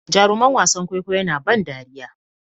Jaruman wasan kwaikwayo na ban dariya